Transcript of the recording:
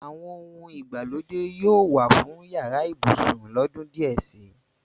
Àwọn ohun èlò ìgbàlódé yóò wà fún yàrá ibùsùn lọ́dún díẹ̀ si.